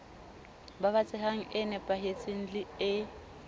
babatsehang e nepahetseng le e